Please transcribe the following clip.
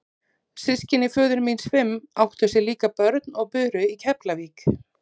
Systkini föður míns fimm áttu sér líka börn og buru í Keflavík.